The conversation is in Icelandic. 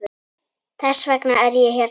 Þess vegna er ég hérna.